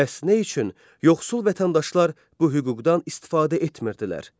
Bəs nə üçün yoxsul vətəndaşlar bu hüquqdan istifadə etmirdilər?